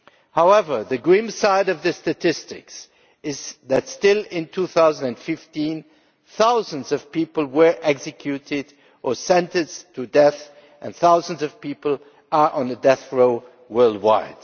However, the grim side of the statistics is that still in 2015 thousands of people were executed or sentenced to death and thousands of people are on death row worldwide.